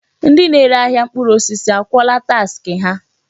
Ndị na-ere ahịa mkpụrụ osisi akwụọla taksị ha?